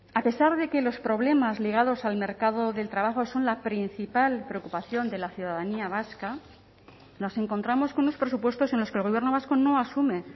a pesar de que los problemas ligados al mercado del trabajo son la principal preocupación de la ciudadanía vasca nos encontramos con unos presupuestos en los que el gobierno vasco no asume